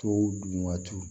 Tow dun waatiw